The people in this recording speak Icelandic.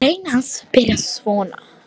Grein hans byrjaði svona